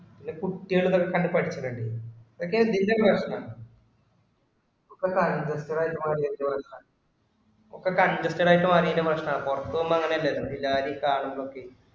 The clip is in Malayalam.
ഇത് കുട്ടികളെ കണ്ടു പഠിക്കണം ഇത്. ഇതൊക്കെ എന്തിന്റെ പ്രശ്നാ. ഒക്കെ congested ആയിട്ടു മാറിയെന്റെ പ്രശ്നവാ. ഒക്കെ congested ആയിട്ടു മാറിയെന്റെ പ്രശ്നവാ. പുറത്തു പോകുമ്പോ അങ്ങിനെ അല്ലല്ലോ, ഈ ജാതി കാണുന്നതൊക്കെ